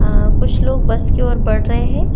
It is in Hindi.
आ कुछ लोग बस की ओर बढ़ रहे हैं।